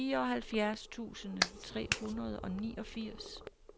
fireoghalvfjerds tusind tre hundrede og niogfirs